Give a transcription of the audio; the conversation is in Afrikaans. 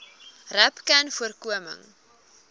rapcanvoorkoming